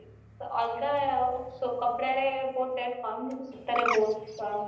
ଅଲଗା ସେ କପଡା ଇଏ rate ବହୁତ କମ ଯାଇ ସୂତା